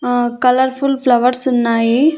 ఆ colourful flowers ఉన్నాయి.